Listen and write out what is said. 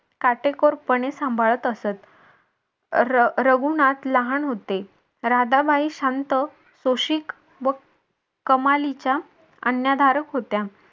काटेकोरपणे सांभाळत असत. रघुनाथ लहान होते. राधाबाई शांत सुशिक व कमालीच्या आज्ञाधारक होत्या.